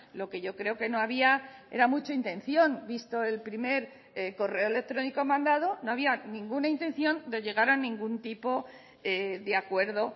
lo que yo creo que no había era mucha intención visto el primer correo electrónico mandado no había ninguna intención de llegar a ningún tipo de acuerdo